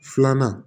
Filanan